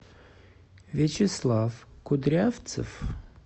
вячеслав кудрявцев